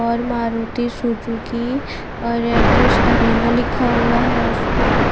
और मारुती सुजुकी और address arena लिखा हुआ है उस पे--